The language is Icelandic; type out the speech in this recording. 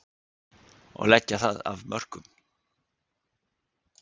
Og leggja það af mörkum.